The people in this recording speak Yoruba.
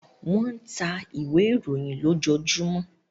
wón tá ìwé ìròyìn lojojumọ